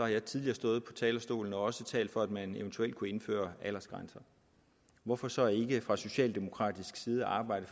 jeg tidligere stået på talerstolen og talt for at man også eventuelt kunne indføre aldersgrænser hvorfor så ikke fra socialdemokratisk side arbejde